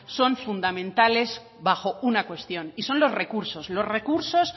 son fundamentales bajo una cuestión y son los recursos los recursos